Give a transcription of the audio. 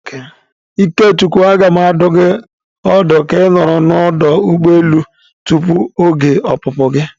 Ikechukwu, a ga m adụ gi ọdụ ka ị nọrọ na ọdụ ụgbọ elu tupu oge opupu gi.